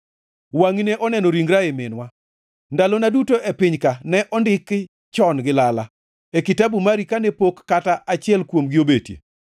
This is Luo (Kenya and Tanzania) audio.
wangʼi ne oneno ringra ei minwa; ndalona duto e piny-ka ne ondiki chon gi lala, e kitabu mari kane pok kata achiel kuomgi obetie.